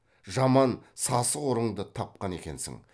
жаман сасық ұрыңды тапқан екенсің